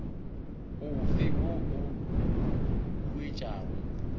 o fe wo o huetšago